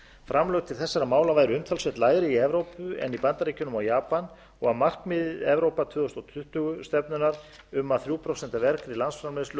framlög til þessara mála væru umtalsvert lægri í evrópu en í bandaríkjunum og japan og að markmið evrópa tvö þúsund tuttugu stefnunnar um að þrjú prósent af vergri landsframleiðslu